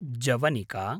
जवनिका